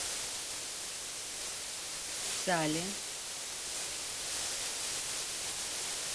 сале